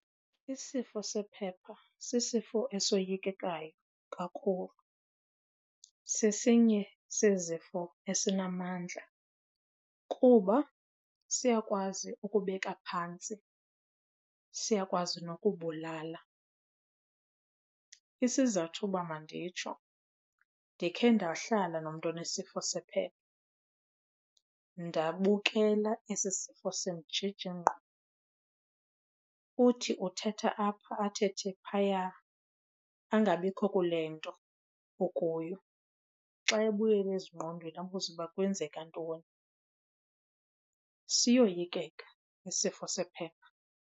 Isifo sephepha sisifo esoyikekayo kakhulu. Sesinye sezifo esinamandla kuba siyakwazi ukubeka phantsi, siyakwazi nokubulala. Isizathu uba manditsho ndikhe ndahlala nomntu onesifo sephepha ndabukela esi sifo simjija ingqondo. Uthi uthetha apha athethe phaya, angabikho kule nto ukuyo. Xa ebuyela ezingqondweni abuze uba kwenzeka ntoni. Siyoyikeka isifo sephepha.